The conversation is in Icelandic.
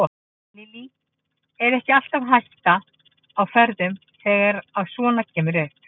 Lillý: Er ekki alltaf hætta á ferðum þegar að svona kemur upp?